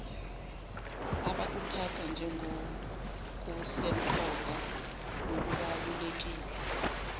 abakuthatha njengokusemqoka nokubalulekile